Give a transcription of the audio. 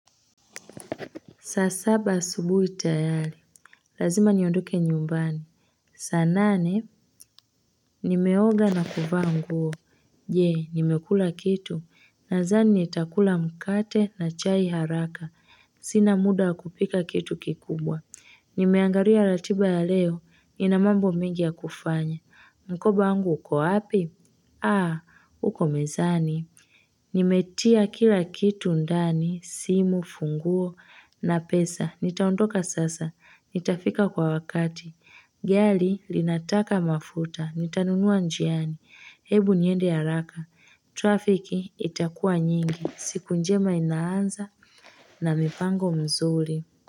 Saa saba asubuhi tayari, lazima niondoke nyumbani. Saa nane, nimeoga na kuvaa nguo. Je, nimekula kitu? Nadhani nitakula mkate na chai haraka. Sina muda kupika kitu kikubwa. Nimeangalia ratiba ya leo, nina mambo mingi ya kufanya. Mkoba wangu uko wapi? Aah, uko mezani. Nimetia kila kitu ndani, simu, funguo na pesa. Nitaondoka sasa, nitafika kwa wakati. Gari linataka mafuta, nitanunua njiani. Hebu niende haraka Trafiki itakuwa nyingi. Siku njema inaanza na mipango mzuri.